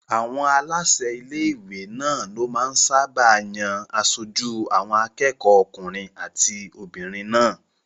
Àwọn aláṣẹ ilé-ìwé náà ló máa ń sáábà yan aṣojú àwọn akẹ́kọ̀ọ́ okùnrin àti obìnrin náà